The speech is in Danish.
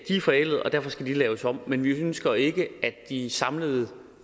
er forældede og derfor skal de laves om men vi ønsker ikke at de samlede